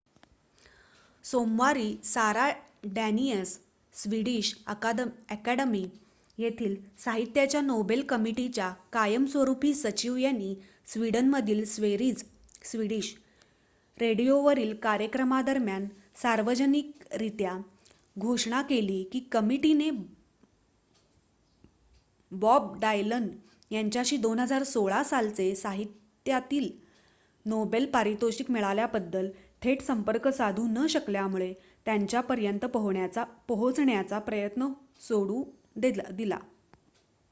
सोमवारी Sara Danius Swedish अकादमी येथील साहित्याच्या नोबेल कमिटीच्या कायमस्वरूपी सचिव यांनी स्विडनमधील स्वेरीज स्विडिश रेडिओवरील कार्यक्रमादरम्यान सार्वजनिकरीत्या घोषणा केली की कमिटीने बॉब डायलन यांच्याशी २०१६ सालचे साहित्यातील नोबेल पारितोषिक मिळाल्याबद्दल थेट संपर्क साधू न शकल्यामुळे त्यांच्यापर्यंत पोहोचण्याचा प्रयत्न सोडून दिला